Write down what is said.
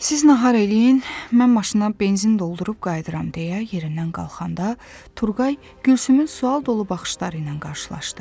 Siz nahar eləyin, mən maşına benzin doldurub qayıdıram deyə yerindən qalxanda, Turqay Gülsümün sual dolu baxışları ilə qarşılaşdı.